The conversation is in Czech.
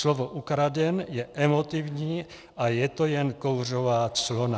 Slovo ukraden je emotivní a je to jen kouřová clona.